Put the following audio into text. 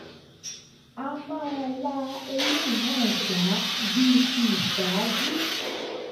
a máa la eléyìí náà já bíi ti ìṣáájú